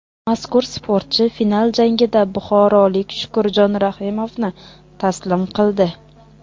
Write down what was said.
Mazkur sportchi final jangida buxorolik Shukurjon Rahimovni taslim qildi.